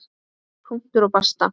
Punktur og basta!